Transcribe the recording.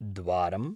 द्वारम्